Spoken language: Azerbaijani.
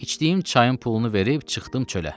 İçdiyim çayın pulunu verib çıxdım çölə.